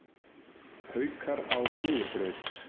Haukar á sigurbraut